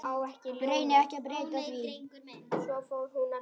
Reyni ekki að breyta því.